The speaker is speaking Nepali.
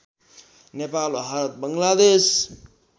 नेपाल भारत बङ्गलादेश